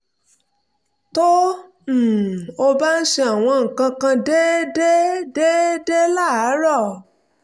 tó um o bá ń ṣe àwọn nǹkan kan déédéé déédéé láàárọ̀